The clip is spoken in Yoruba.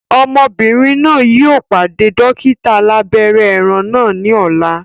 Ọmọbìnrin náà yìí ó pàdé dókítà alàbẹ́rẹ́ ẹran náà ni ọ̀la